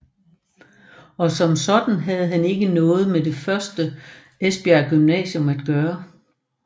Og som sådan havde han ikke noget med det første Esbjerg Gymnasium at gøre